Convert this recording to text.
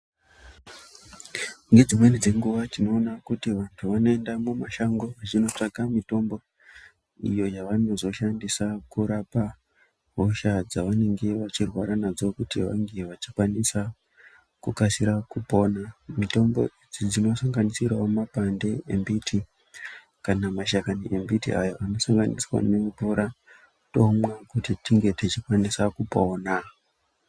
Ngedzimweni dzenguva tinoona kuti vantu vanoenda mumashango vechinotsvaka mitombo iyo yavanozoshandisa kurapa hosha dzevanenge vechirwara nadzo kuti vange vechikwanisa kukasira kupona. Mitombo idzi dzinosanganisirawo mapande embiti kana mashakani embiti ayo anosanganiswa nemvura tomwa kuti tinge tichikwanisa kupona.